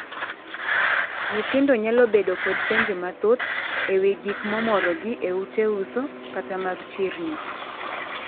Nyithindo nyalo bedo kod penjo mathoth e wii gik momorogi e ute uso kata mag chirni.